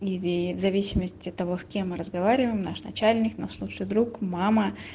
в зависимости от того с кем мы разговариваем наш начальник наш лучший друг мама